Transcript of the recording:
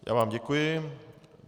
Já vám děkuji.